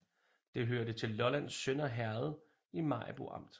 Det hørte til Lollands Sønder Herred i Maribo Amt